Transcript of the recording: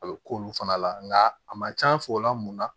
A bɛ k'olu fana la nka a man c'an fɛ o la mun na